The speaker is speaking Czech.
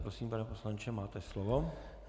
Prosím, pane poslanče, máte slovo.